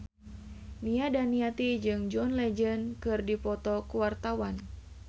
Nia Daniati jeung John Legend keur dipoto ku wartawan